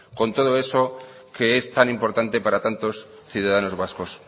con todo eso que es tan importante para tantos ciudadanos vascos